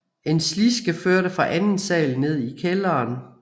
En sliske førte fra anden sal ned i kælderen